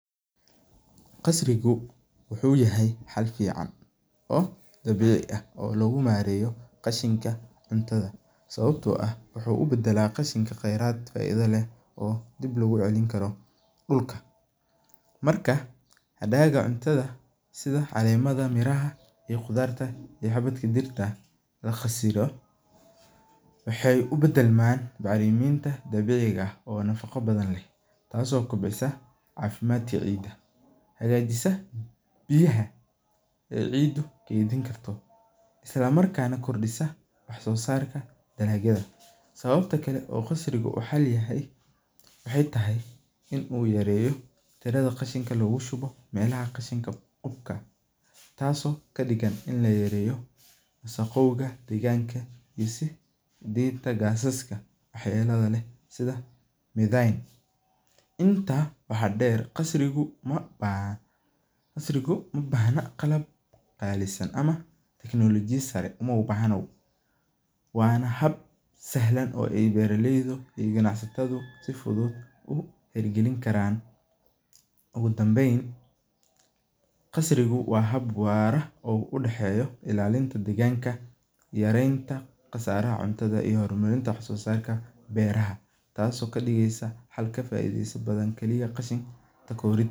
Qasrigu wuxuu yahay xaad fican oo dabici ah oo logu mareyo qashinka cuntadha sawabto ah wuxuu u badala qashinka qayraad faidha leh oo dib logu celinkara dulka marka hadaga cuntadha sitha calemaada miraha ee qudhaarta ama xabaadka dirta, waxee u badalman dabici ah oo nafaqa leh taso kubcisa cafimaad dabci ah hagajisa biya ee cida kento isla markasna wax sosarka dalagyadha casrigu waxee lamiid tahay in u yareyo welaha qashinka lagu shubo, taso kadigan in ladereyo wasaqoyinka dinta gasaska wax yaladha leh sitha midhen, waxaa deer qasriga uma bahna qalab casriyesan ama technology a sara uma bahna hab si sahlan oo bera leydu si fuduud u xera galin karan ugu danben qasrigu waa hab wara oo u daxeyo ilalinta deganka yarenta iyo sosarka marenta beraha tas oo kadigeyso xal kafaideyso bdan qashin inta aa laxorin.